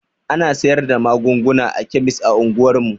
Ana sayar da magunguna a kemis a unguwar mu.